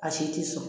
A si ti sɔn